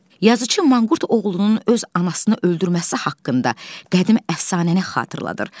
Yazıçı manqurt oğlunun öz anasını öldürməsi haqqında qədim əfsanəni xatırladır.